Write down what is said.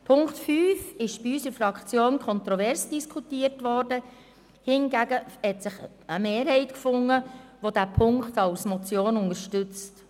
Der Punkt 5 wurde in unserer Fraktion kontrovers diskutiert, doch es hat sich eine Mehrheit gefunden, die diesen Punkt als Motion unterstützt.